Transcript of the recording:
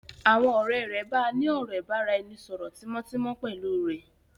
Àwọn ọ̀rẹ́ rẹ̀ bàa ní ọ̀rọ̀ ìbáraẹnisọọ̀rọ̀ tímótímó pẹ́lu rẹ́.